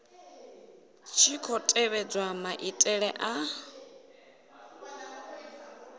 tshi khou tevhedzwa maitele a